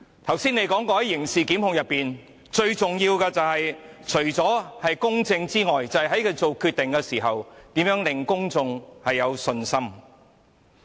她剛才表示，在刑事檢控中，最重要的是公正，以及律政司司長在作出決定時能令公眾有信心。